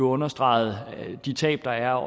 understreget de tab der er